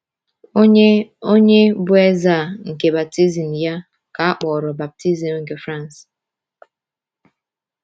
Onye Onye bụ eze a nke baptizim ya ka a kpọrọ baptizim nke France?